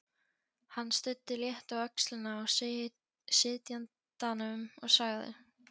Hann studdi létt á öxlina á sitjandanum og sagði